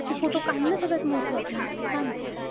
कि photo काढणं सगळ्यात महत्वाचं आहे. सांग तू.